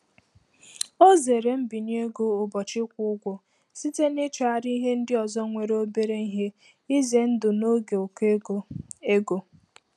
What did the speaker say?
Ọ zere mbinye ego ụbọchị ịkwụ ụgwọ site n'ịchọgharị ihe ndị ọzọ nwere obere ihe ize ndụ n'oge ụkọ ego. ego.